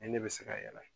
Ni ne bɛ se ka yɛlɛ